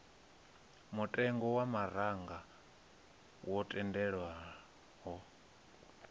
mutengo wa maraga wo tendelwaho